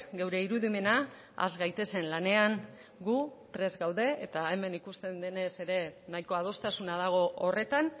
gure irudimena has gaitezen lanean gu prest gaude eta hemen ikusten denez ere nahiko adostasuna dago horretan